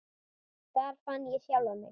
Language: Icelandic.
Þar fann ég sjálfan mig.